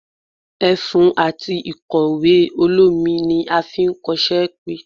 efún atí ikọwe olomí ní a fí n kos-wjpé